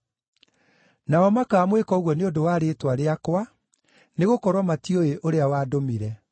Nao makaamwĩka ũguo nĩ ũndũ wa rĩĩtwa rĩakwa, nĩgũkorwo matiũĩ ũrĩa wandũmire.